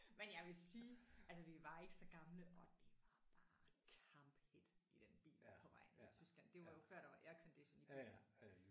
Men jeg vil sige altså vi var ikke så gamle og det var bare kamphedt i den bil der på vej ned i Tyskland. Det var jo før der var aircondition i biler